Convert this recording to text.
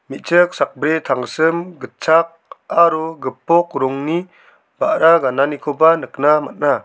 me·chik sakbri tangsim gitchak aro gipok rongni ba·ra gananikoba nikna man·a.